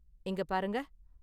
இங்க பாருங்க.